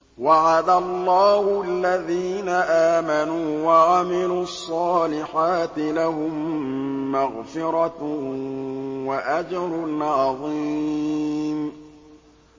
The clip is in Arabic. وَعَدَ اللَّهُ الَّذِينَ آمَنُوا وَعَمِلُوا الصَّالِحَاتِ ۙ لَهُم مَّغْفِرَةٌ وَأَجْرٌ عَظِيمٌ